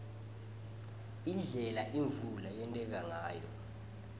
indlela imvula leyenteka ngayo